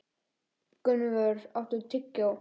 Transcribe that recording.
Gunnvör, áttu tyggjó?